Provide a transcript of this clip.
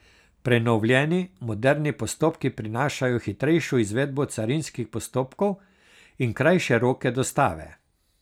Prenovljeni, moderni postopki prinašajo hitrejšo izvedbo carinskih postopkov in krajše roke dostave.